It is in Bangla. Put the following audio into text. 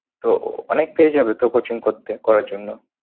তো অনেকটাই যাবে তো coaching করতে করার জন্য।